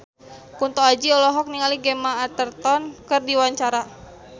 Kunto Aji olohok ningali Gemma Arterton keur diwawancara